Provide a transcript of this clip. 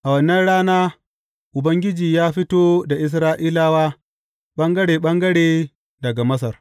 A wannan rana, Ubangiji ya fito da Isra’ilawa ɓangare ɓangare daga Masar.